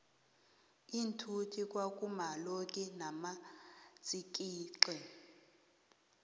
iinthuthi kwa kuma lonki namatsikixi